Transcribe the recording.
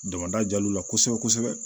Damada jal'u la kosɛbɛ kosɛbɛ